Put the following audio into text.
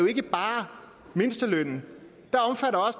ikke bare er mindstelønnen